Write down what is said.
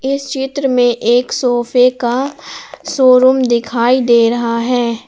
इस चित्र में एक सोफे का शो रूम दिखाई दे रहा है।